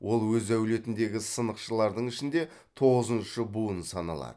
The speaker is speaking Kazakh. ол өз әулетіндегі сынықшылардың ішінде тоғызыншы буын саналады